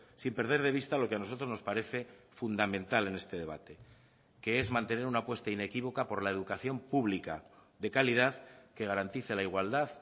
sin perder de vista lo que a nosotros nos parece fundamental en este debate que es mantener una apuesta inequívoca por la educación pública de calidad que garantice la igualdad